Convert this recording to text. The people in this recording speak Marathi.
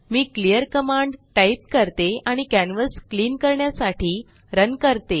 मी क्लिअर कमांड टाइप करते आणि कॅन्वस क्लीन करण्यासाठी रन करते